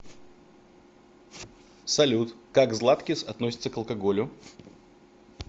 салют как златкис относится к алкоголю